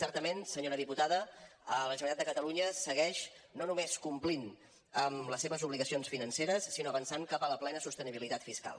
certament senyora diputada la generalitat de catalunya segueix no només complint amb les seves obligacions financeres sinó avançant cap a la plena sostenibilitat fiscal